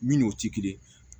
Min n'o ti kelen ye